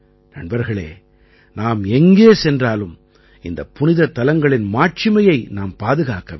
நண்பர்களே நாம் எங்கே சென்றாலும் இந்தப் புனிதத் தலங்களின் மாட்சிமையை நாம் பாதுகாக்க வேண்டும்